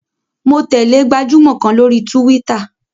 Mo tẹ̀lẹ́ gbajúmọ̀ kan lórí túwítà